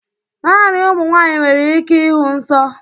Naanị ụmụ nwanyị nwere ike ịhụ nsọ